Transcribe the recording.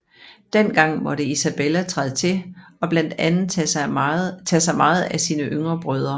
Dengang måtte Isabella træde til og blandt andet tage sig meget af sine yngre brødre